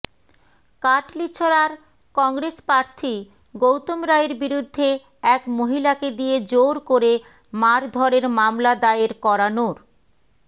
কাটলিছরার কংগ্রেস প্রার্থী গৌতম রায়ের বিরুদ্ধে এক মহিলাকে দিয়ে জোর করে মারধরের মামলা দায়ের করানোর